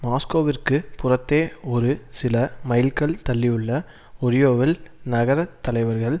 மாஸ்கோவிற்கு புறத்தே ஒரு சில மைல்கள் தள்ளியுள்ள ஒரியோவில் நகர தலைவர்கள்